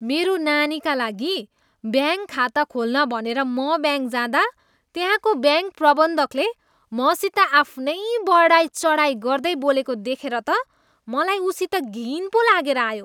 मेरो नानीका लागि ब्याङ्क खाता खोल्न भनेर म ब्याङ्क जाँदा त्यहाँको ब्याङ्क प्रबन्धकले मसित आफ्नै बढाइचढाई गर्दै बोलेको देखेर त मलाई उसित घिन पो लागेर आयो।